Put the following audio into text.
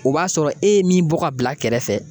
O b'a sɔrɔ e ye min bɔ ka bila kɛrɛfɛ.